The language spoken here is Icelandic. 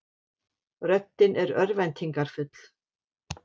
Röddin er örvæntingarfull.